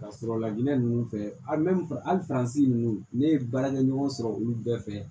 Ka sɔrɔ lajinɛ ninnu fɛ alimɛi hali ninnu ne ye baarakɛ ɲɔgɔn sɔrɔ olu bɛɛ fɛ